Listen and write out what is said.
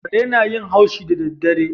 Kare na yin haushi da daddare